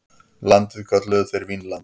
Landið kölluðu þeir Vínland.